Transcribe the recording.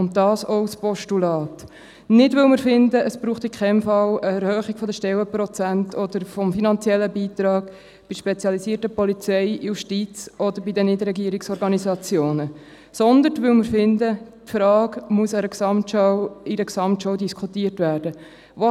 Das gilt auch für ein allfälliges Postulat – nicht, weil wir finden, dass es auf keinen Fall eine Erhöhung der Stellenprozente oder des finanziellen Beitrags bei der spezialisierten Polizei, Justiz oder bei den NGOs braucht, sondern, weil wir finden, dass diese Frage in einer Gesamtschau diskutiert werden muss.